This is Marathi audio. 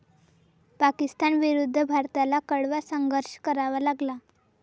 पाकिस्तानविरुद्ध भारताला कडवा संघर्ष करावा लागला.